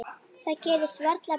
Það gerist varla betra.